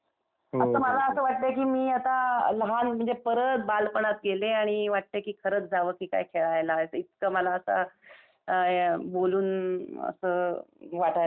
तर मला असं वाटतंय की मी आता लहान म्हणजे परत बालपणात गेले आणि वाटतंय की खरच जाव की काय खेळायला इतकं मला आता, बोलून असं वाटायला लागलय.